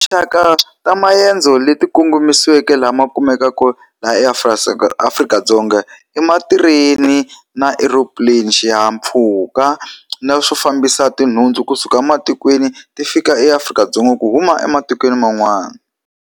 Tinxaka ta maendzo leti kongomisiweke lama kumekaka laha Afrika-Dzonga, i matireni na earoplane xihahampfhuka, na swo fambisa tinhundzu kusuka matikweni ti fika eAfrika-Dzonga ku huma ematikweni man'wana.